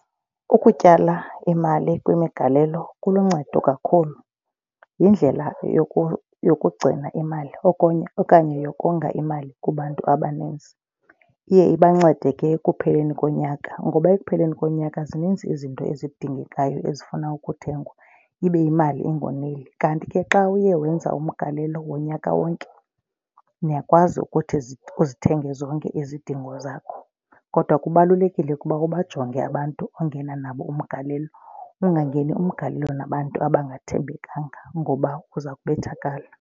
Ukutyala imali kwimigalelo kuluncedo kakhulu. Yindlela yokugcina imali okunye okanye yokonga imali kubantu abaninzi. Iye ibancede ke ekupheleni konyaka ngoba ekupheleni konyaka zininzi izinto ezidingekayo ezifuna ukuthengwa ibe imali ingoneli. Kanti ke xa uye wenza umgalelo wonyaka wonke niyakwazi ukuthi uzithenge zonke izidingo zakho. Kodwa kubalulekile ukuba ubajonge abantu ongena nabo umgalelo ungangeni umgalelo nabantu abangathembekanga ngoba uza kubethakala.